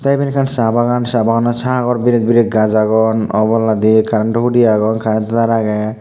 tey iben ekkan saa bagan saa baganot sagor viret viret gaas agon oboladi currento hudi agon currento taar agey.